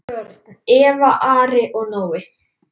Börn: Eva, Ari og Nói.